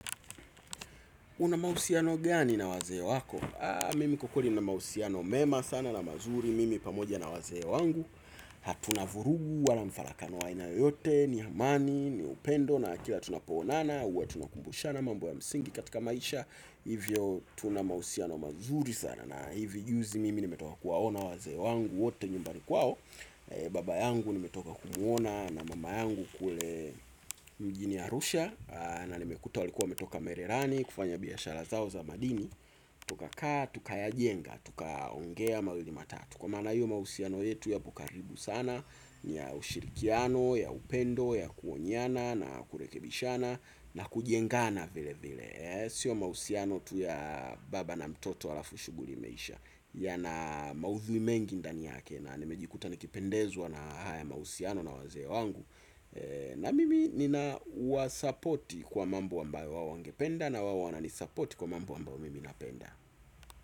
Unamahusiano gani na wazee wako? Mimi kwa ukweli ninamahusiano mema sana na mazuri Mimi pamoja na wazee wangu hatuna vurugu wala mfalakano wa aina yoyote ni amani, ni upendo na kila tunapo onana huwa tunakumbushana mambo ya msingi katika maisha. Hivyo tunamahusiano mazuri sana na hivi juzi mimi nimetoka kuwaona wazee wangu wote nyumbani kwao. Baba yangu nimetoka kumuona na mama yangu kule mjini arusha na nimekuta walikuwa wametoka merirani kufanya biashara zao za madini. Tuka kaa, tuka ya jenga tuka ongea mawili matatu kwa mara hiyo mahusiano yetu yako karibu sana. Ni ya ushirikiano, ya upendo ya kuonyana na kurekebishana na kujengana vile vile. Sio mahusiano tu ya baba na mtoto alafu shughuli imeisha yana maudhui mengi ndani yake na nimejikuta nikipendezwa na haya mahusiano na wazee wangu. Na mimi nina wasapoti kwa mambo ambayo wao wangependa na wao wananisupport kwa mambo ambao mimi napenda.